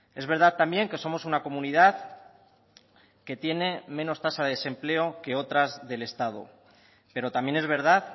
es verdad también que somos una comunidad que tiene menos tasa de desempleo que otras del estado pero también es verdad